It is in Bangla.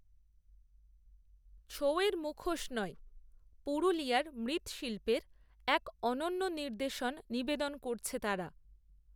ছৌয়ের মুখোশ নয়, পুরুলিয়ার মৃ্ৎশিল্পের, এক, অনন্য নির্দশন নিবেদন করছে তারা